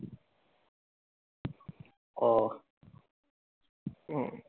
ও